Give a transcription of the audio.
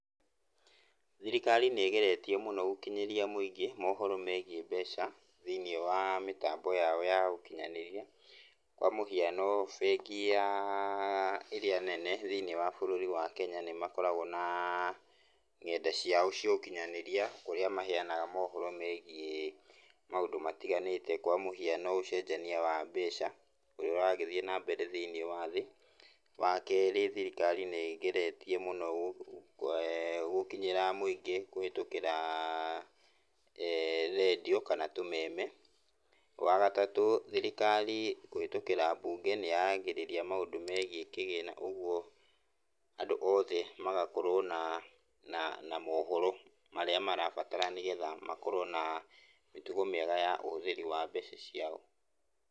Thirikari nĩgeretie mũno gũkinyĩria mũingĩ mohoro megiĩ mbeca, thĩiniĩ wa mĩtambo yao ya gũkĩnyanĩria. Kwa mũhiano bengi yaa ĩrĩa nene thĩiniĩ wa bũrũri wa Kenya nĩmakoragwo naa ngenda ciao cia ũkinyanĩria, kũrĩa maheanaga mohoro megiĩ maũndũ matiganĩte kwa mũhiano ũcenjania wa mbeca, ũrĩa ũragĩthiĩ nambere thĩiniĩ wa thĩ. Wakerĩ thirikari nĩgeretie mũno gũkinyĩra mũingĩ kũhĩtũkĩra redio kana tũmeme. Wagatatũ, thirikari kũhĩtũkĩra mbunge nĩyaragĩrĩria maũndũ megiĩ kĩgĩna ũguo andũ othe magakorwo naa na na mohoro marĩa marabatara nĩgetha makorwo naa mĩtugo mĩega ya ũhũthĩri wa mbeca ciao.